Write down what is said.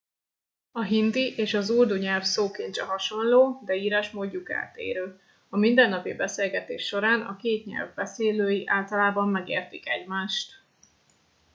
a hindi és az urdu nyelv szókincse hasonló de írásmódjuk eltérő a mindennapi beszélgetés során a két nyelv beszélői általában megértik egymást